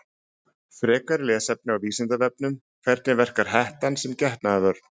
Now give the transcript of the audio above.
Frekara lesefni á Vísindavefnum: Hvernig verkar hettan sem getnaðarvörn?